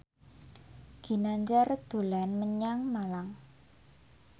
Ginanjar dolan menyang Malang